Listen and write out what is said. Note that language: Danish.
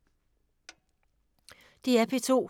DR P2